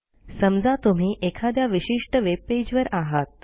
समजा तुम्ही एखाद्या विशिष्ट वेबपेजवर आहात